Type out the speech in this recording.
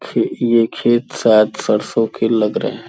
ख ये खेत शायद सरसों के लग रहे हैं।